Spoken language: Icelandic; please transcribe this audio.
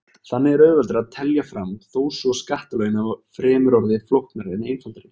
Þannig er auðveldara að telja fram þó svo skattalögin hafi fremur orðið flóknari en einfaldari.